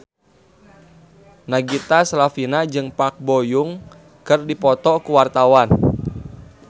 Nagita Slavina jeung Park Bo Yung keur dipoto ku wartawan